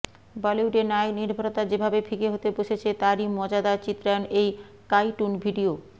বলিউডে নায়ক নির্ভরতা যেভাবে ফিকে হতে বসেছে তারই মজাদার চিত্রায়ন এই কাঈটুন ভিডিও